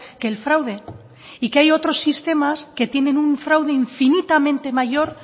que el fraude y que hay otros sistemas que tienen un fraude infinitamente mayor